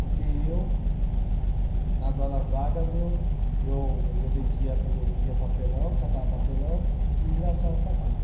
Porque eu, nas horas vagas eu, eu eu vendia, eu vendia papelão, catava papelão e engraxava sapato.